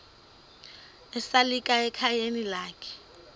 esalika ekhayeni lakhe